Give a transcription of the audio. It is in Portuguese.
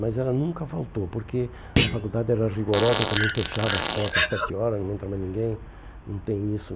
Mas ela nunca faltou, porque a faculdade era rigorosa, também fechava as portas às sete horas, não entra mais ninguém, não tem isso.